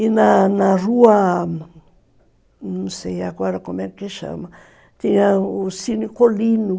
E na na rua, não sei agora como é que chama, tinha o Cine Colino.